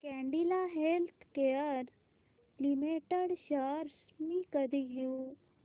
Cadila healthcare limited shares मी कधी घेऊ